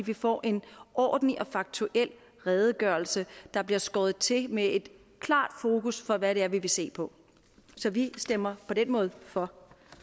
vi får en ordentlig og faktuel redegørelse der bliver skåret til med et klart fokus på hvad det er vi vil se på så vi stemmer på den måde for